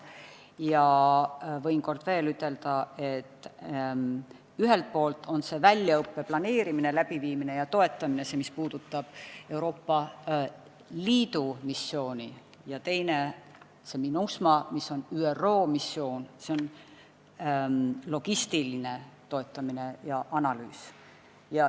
Ja võin veel kord ütelda, et ühelt poolt on Euroopa Liidu missioon, s.o väljaõppe planeerimine, läbiviimine ja toetamine, ja teiselt poolt on ÜRO missioon MINUSMA, s.o logistiline toetamine ja analüüs.